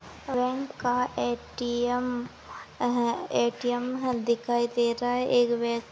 bank का A T M अह A T M दिखाई दे रहा है एक व्य --